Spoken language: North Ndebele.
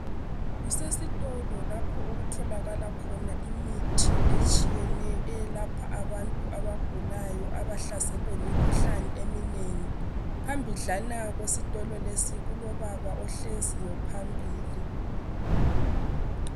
Kusesitolo lapho okutholakala khona imithi etshiyeneyo eyelapha abantu abagulayo abahlaselwe yimkhuhlane eminengi. Phambidlana kwesitolo lesi kulobaba ohleziyo phambili.